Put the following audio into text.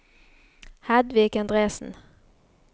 Hedvig Endresen